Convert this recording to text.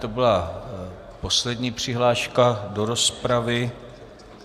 To byla poslední přihláška do rozpravy.